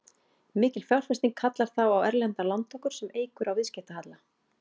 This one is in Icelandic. Mikil fjárfesting kallar þá á erlendar lántökur sem eykur á viðskiptahalla.